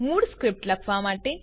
મૂળ સ્ક્રીપ્ટ લખવા માટે